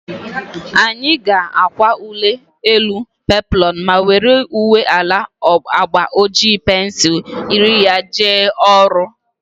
Anyị ga-akwa uwe elu peploonu ma were uwe ala agba oji pensul yiri ya jee ọrụ